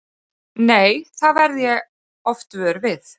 Nei, það verð ég oft vör við.